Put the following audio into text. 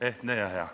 Ehtne ja hea.